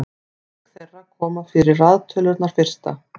auk þeirra koma fyrir raðtölurnar fyrsta